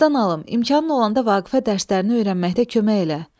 qadan alım, imkanın olanda Vaqifə dərslərini öyrənməkdə kömək elə.